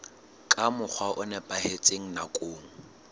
ka mokgwa o nepahetseng nakong